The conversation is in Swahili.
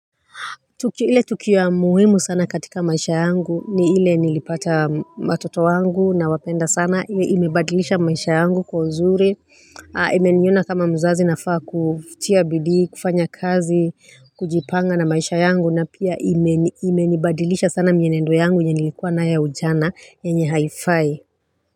Tukio ya muhimu sana katika maisha yangu ni ile nilipata matoto wangu na wapenda sana ime badilisha maisha yangu kwa uzuri Ha imeniona kama mzazi nafaa kutia bidii kufanya kazi kujipanga na maisha yangu na pia ime imeni badilisha sana mienendo yangu yenye nilikuwa na ya ujana yenye haifai.